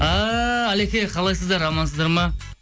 ааа алеке қалайсыздар амансыздар ма